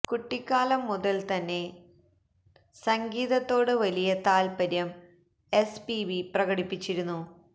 കുട്ടിക്കാലം മുതൽ തന്നെ തന്നെ സംഗീതത്തോട് വലിയ താത്പര്യം എസ് പിബി പ്രകടിപ്പിച്ചിരുന്നു